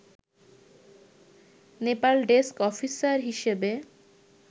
Nepal desk officer হিসেবে